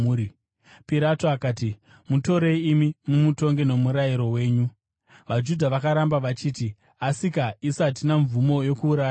Pirato akati, “Mutorei imi mumutonge nomurayiro wenyu.” VaJudha vakaramba vachiti, “Asika, isu hatina mvumo yokuuraya munhu.”